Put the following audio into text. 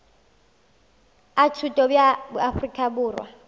a thuto bja afrika borwa